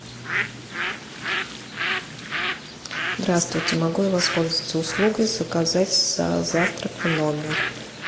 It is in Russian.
здравствуйте могу я воспользоваться услугой заказать завтрак в номер